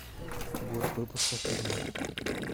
год выпуска фильма